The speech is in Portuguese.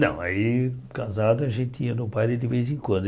Não, aí casado a gente ia no baile de vez em quando.